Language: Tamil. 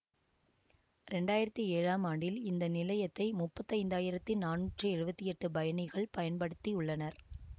இரண்டு ஆயிரத்தி ஏழாம் ஆண்டில் இந்த நிலையத்தை முப்பத்தி ஐந்து ஆயிரத்தி நானூற்றி எழுவத்தி எட்டு பயணிகள் பயன்படுத்தி உள்ளனர்